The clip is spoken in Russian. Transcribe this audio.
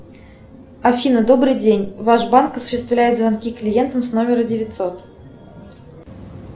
афина добрый день ваш банк осуществляет звонки клиентам с номера девятьсот